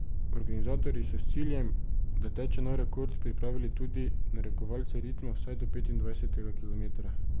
Organizatorji so s ciljem, da teče nov rekord, pripravili tudi narekovalce ritma vsaj do petindvajsetega kilometra.